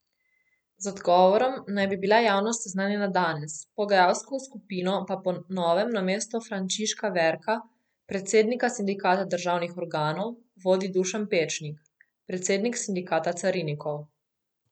Z odgovorom naj bi bila javnost seznanjena danes, pogajalsko skupino pa po novem namesto Frančiška Verka, predsednika sindikata državnih organov, vodi Dušan Pečnik, predsednik sindikata carinikov.